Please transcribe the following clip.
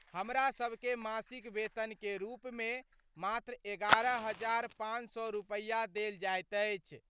हमरा सब के मासिक वेतन के रूप मे मात्र 11500 रुपया देल जाइत अछि।